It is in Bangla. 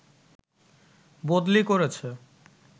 বদলি করেছে